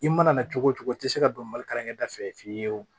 I mana na cogo o cogo i tɛ se ka don mali kalankɛ da fɛ fiye fiyew